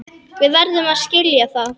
Við verðum að skilja það.